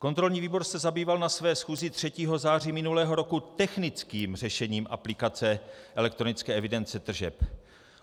Kontrolní výbor se zabýval na své schůzi 3. září minulého roku technickým řešením aplikace elektronické evidence tržeb.